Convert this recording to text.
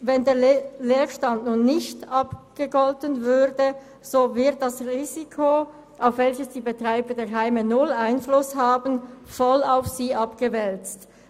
Wenn der Leerstand nun nicht abgegolten würde, so würde das Risiko, auf welches die Betreiber der Heime null Einfluss haben, voll auf diese abgewälzt.